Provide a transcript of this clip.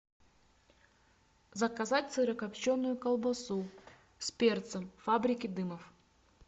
заказать сырокопченую колбасу с перцем фабрики дымов